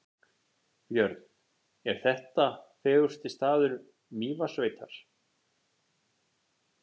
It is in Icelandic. Björn: Er þetta fegursti staður Mývatnssveitar?